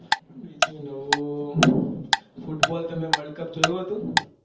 બીજું નવું football તમે world cup જોયું હતું?